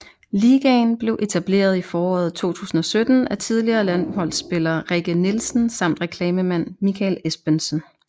Ligaen blev etableret i foråret 2017 af tidligere landsholdsspiller Rikke Nielsen samt reklamemand Mikael Espensen